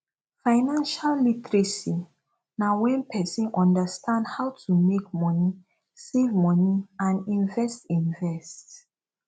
financial literacy na when person understand how to make money save money and invest invest